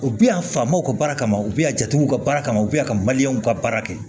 U bɛ yan faw ka baara kama u bɛ yan jatew ka baara kama u bɛ yan ka maliyɛnw ka baara kɛ